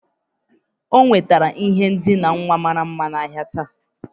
O nwetara ihe ndina nwa mara mma n'ahịa taa